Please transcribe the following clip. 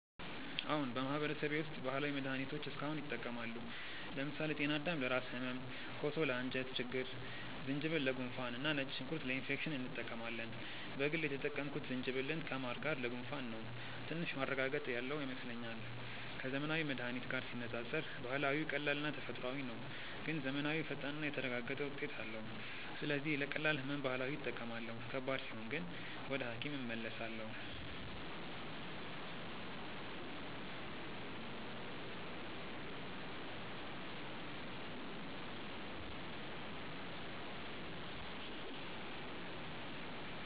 አዎን፣ በማህበረሰቤ ውስጥ ባህላዊ መድሃኒቶች እስካሁን ይጠቀማሉ። ለምሳሌ ጤናዳም ለራስ ህመም፣ ኮሶ ለአንጀት ችግኝ፣ ዝንጅብል ለጉንፋን እና ነጭ ሽንኩርት ለኢንፌክሽን እንጠቀማለን። በግል የተጠቀምኩት ዝንጅብልን ከማር ጋር ለጉንፋን ነው፤ ትንሽ ማረጋገጥ ያለው ይመስለኛል። ከዘመናዊ መድሃኒት ጋር ሲነጻጸር ባህላዊው ቀላልና ተፈጥሯዊ ነው፣ ግን ዘመናዊው ፈጣንና የተረጋገጠ ውጤት አለው። ስለዚህ ለቀላል ህመም ባህላዊ እጠቀማለሁ፣ ከባድ ሲሆን ግን ወደ ሐኪም እመለሳለሁ።